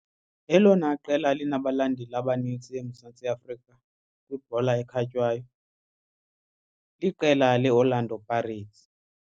Elona qela linabalandeli abanintsi eMzantsi Afrika kwibhola ekhatywayo liqela leOrlando Pirates.